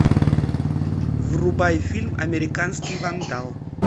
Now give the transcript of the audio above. врубай фильм американский вандал